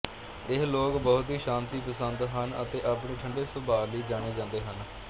ਇਹ ਲੋਕ ਬਹੁਤ ਹੀ ਸ਼ਾਂਤੀ ਪਸੰਦ ਹਨ ਅਤੇ ਆਪਣੇ ਠੰਢੇ ਸੁਭਾਅ ਲਈ ਜਾਣੇ ਜਾਂਦੇ ਹਨ